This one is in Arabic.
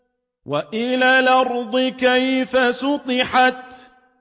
وَإِلَى الْأَرْضِ كَيْفَ سُطِحَتْ